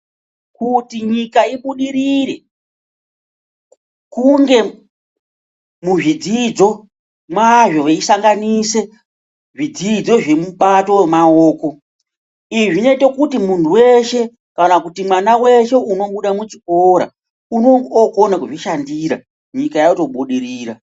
Kuti nyika ibudirire, kunge muzvidzidzo mwazvo veyisanganise zvidzidzo zvemubato wemaoko, izvi zvinoite kuti muntu weshe ,kana kuti mwana weshe unobuda muchikora ,unonga okona kuzvishandira nyika yotobudirira.